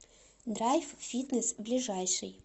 драйв фитнес ближайший